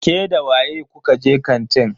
Ke da waye kuka je kantin?